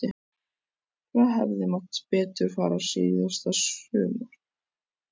Hvað hefði mátt betur fara síðasta sumar?